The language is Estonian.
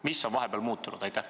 " Mis on vahepeal muutunud?